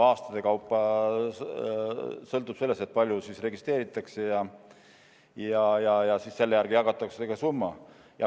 Aastate kaupa sõltub sellest, kui palju registreeritakse, ja selle järgi jagatakse see summa.